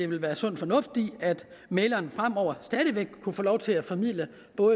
vil være sund fornuft i at mægleren fremover stadig væk kunne få lov til at formidle